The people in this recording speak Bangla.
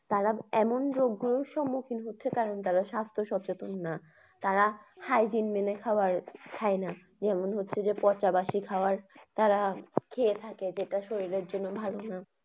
তারা এমন রোগের সম্মুখীন হচ্ছে কারণ তারা সাস্থ্য সচেতন না। তারা hygiene মেনে খাবার খায়না। যেমন হচ্ছে যে পচা বাসি খাবার তারা খেয়ে থাকে যেটা শরীরের জন্যে ভালনা।